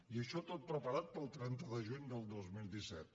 i això tot preparat per al trenta de juny del dos mil disset